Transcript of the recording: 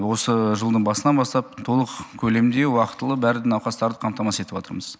осы жылдың басынан бастап толық көлемде уақтылы барлық науқастарды қамтамасыз етіп отырмыз